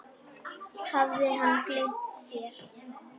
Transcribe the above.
Hafði hann gleymt sér?